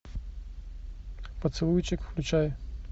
поцелуйчик включай